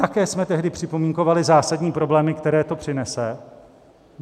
Také jsme tehdy připomínkovali zásadní problémy, které to přinese.